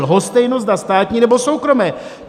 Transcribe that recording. Lhostejno, zda státní, nebo soukromé.